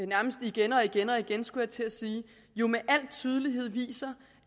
nærmest igen og igen og igen skulle jeg til at sige jo med al tydelighed viser